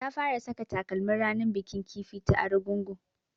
Ta fara saka takalmin ranar bikin kifi ta Argungu